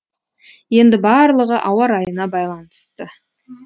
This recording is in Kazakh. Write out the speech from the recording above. енді барлығы ауа райына байланысты